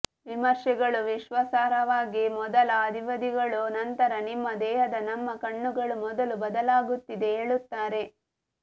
ವಿಮರ್ಶೆಗಳು ವಿಶ್ವಾಸಾರ್ಹವಾಗಿ ಮೊದಲ ಅವಧಿಗಳು ನಂತರ ನಿಮ್ಮ ದೇಹದ ನಮ್ಮ ಕಣ್ಣುಗಳು ಮೊದಲು ಬದಲಾಗುತ್ತಿದೆ ಹೇಳುತ್ತಾರೆ